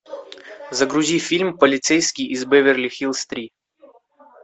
загрузи фильм полицейский из беверли хиллз три